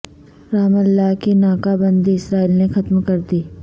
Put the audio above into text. رم اللہ کی ناکہ بندی اسرائیل نے ختم کردی